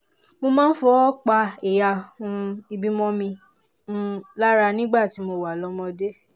mo máa ń fọwọ́ pa ẹ̀yà um ìbímọ mi um lára nígbà tí mo wà lọ́mọdé